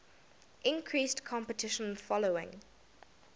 increased competition following